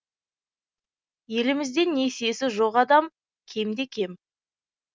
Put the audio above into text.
елімізде несиесі жоқ адам кем де кем